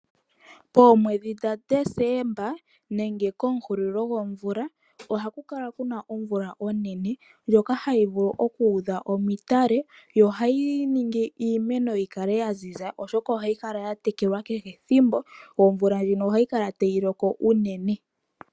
Poomwedhi dha Desemba, nenge komuhulilo gwomvula, ohaku kala kuna omvula onene, ndyoka hayi vulu okuudha omatale, yo ohayi ningi iimeno yikale yaziza, oshoka ohayi kala yatekelwa kehe ethimbo, yo omvula ndjino ohayi kala tayi loko unene.